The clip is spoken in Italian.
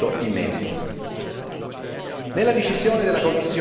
Perciò chiediamo alla Commissione il suo orientamento in merito.